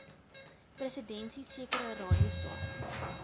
presidensie sekere radiostasies